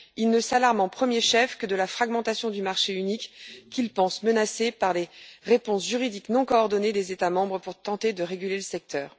Ils ne s'alarment au premier chef que de la fragmentation du marché unique, qu'ils pensent menacé par les réponses juridiques non coordonnées des États membres pour tenter de réguler le secteur.